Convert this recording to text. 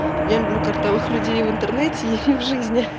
я люблю картавых людей в интернете и в жизни